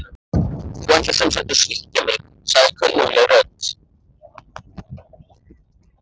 Þú ætlar sem sagt að svíkja mig- sagði kunnugleg rödd.